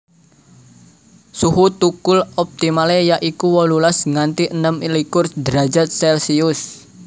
Suhu thukul optimale ya iku wolulas nganti enem likur derajat celsius